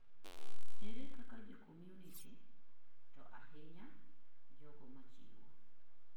ere kaka jo community( to ahinya jogo machiwo)